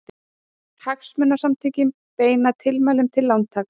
Hagsmunasamtökin beina tilmælum til lántaka